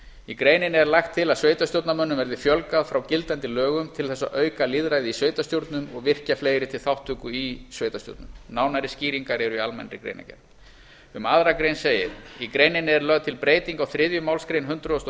í greininni er lagt til að sveitarstjórnarmönnum verði fjölgað frá gildandi lögum til þess að auka lýðræði í sveitarstjórnum og virkja fleiri til þátttöku í sveitarstjórnum nánari skýringar eru í almennri greinargerð um aðra grein segir í greininni er lögð til breyting á þriðju málsgrein hundrað og